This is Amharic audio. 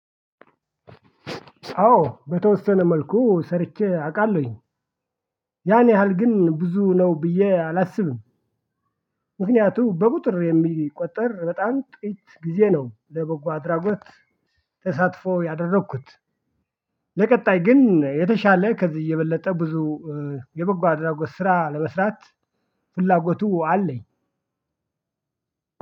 አዎ በተወሰነ መልኩ ሰርቼ አውቃለሁኝ ያን ያህል ግን ብዙ ነው ብዬ አላስብም። ምክንያቱም በቁጥር የሚቆጠር በጣም ጥቂት ጊዜ ነው ለበጎ አድራጎት ተሳትፎ ያደረግኩት። ለቀጣይ ግን የተሻለ ከዚህ እየበለጠ ብዙ የ አድራጎት ስራ ለመስራት ፍላጎቱ አለኝ።